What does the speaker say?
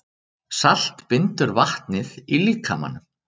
Salt bindur vatnið í líkamanum.